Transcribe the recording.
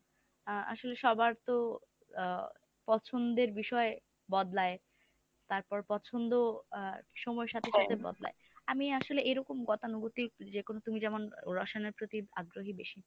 আ আসলে সবার তো আ পছন্দের বিষয় বদলায়, তারপর পছন্দ আ সময়ের সাথে সাথে বদলায়। আমি আসলে এরকম গতানুগতিক যেকোনো তুমি যেমন রসানের প্রতি আগ্রহী বেশি।